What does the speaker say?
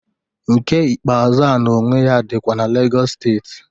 Nke ikpeazụ a na onwe ya dịkwa na Legọs steeti.